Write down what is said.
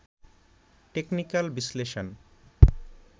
technical বিশ্লেষণ